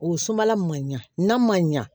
O sumala man ɲa n'a man ɲa